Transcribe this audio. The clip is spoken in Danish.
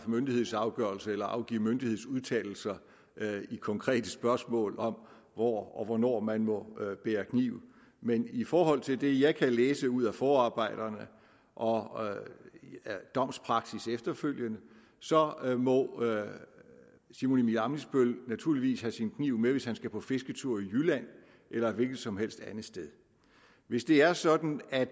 myndighedsafgørelser eller afgive myndighedsudtalelser i konkrete spørgsmål om hvor og hvornår man må bære kniv men i forhold til det jeg kan læse ud af forarbejderne og domspraksis efterfølgende så må herre simon emil ammitzbøll naturligvis have sin kniv med hvis han skal på fisketur i jylland eller et hvilket som helst andet sted hvis det er sådan at